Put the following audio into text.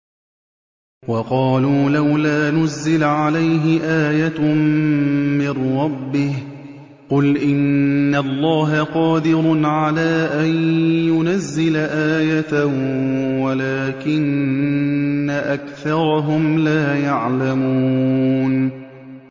وَقَالُوا لَوْلَا نُزِّلَ عَلَيْهِ آيَةٌ مِّن رَّبِّهِ ۚ قُلْ إِنَّ اللَّهَ قَادِرٌ عَلَىٰ أَن يُنَزِّلَ آيَةً وَلَٰكِنَّ أَكْثَرَهُمْ لَا يَعْلَمُونَ